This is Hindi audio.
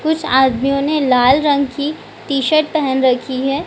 कुछ आदमियों ने लाल रंग की टी-शर्ट पहन रखी है।